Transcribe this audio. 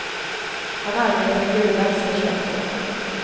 Han arbetar i gruvan sedan tjugoett år.